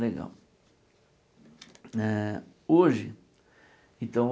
Legal. Eh hoje então